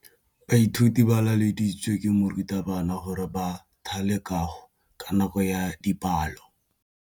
Baithuti ba laeditswe ke morutabana gore ba thale kagô ka nako ya dipalô.